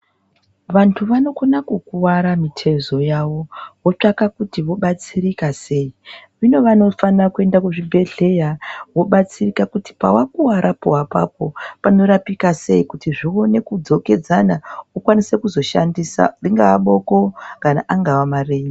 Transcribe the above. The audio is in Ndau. Vantu vano kona kukwara mitezo yavo votsvaka kuti vo batsirika sei zvino vanofana kuenda ku zvibhedhleya vo batsirika kuti pava kwara po apapo pano rapika sei kuti zvione kudzokedzana ukwanise kuzo shandisa ringava boko kana angava marenje.